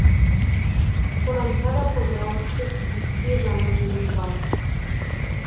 қорамса да қозғалыссыз гидке жана жүріс бар